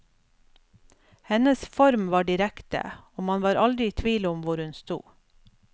Hennes form var direkte, og man var aldri i tvil om hvor hun sto.